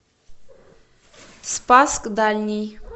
спасск дальний